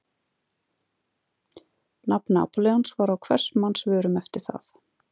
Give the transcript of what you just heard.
Nafn Napóleons var á hvers manns vörum eftir það.